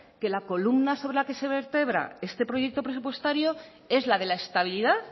que la columna sobre la que se vertebra este proyecto presupuestario es la de la estabilidad